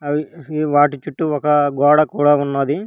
వాటి చుట్టూ ఒక గోడ కూడా ఉన్నది.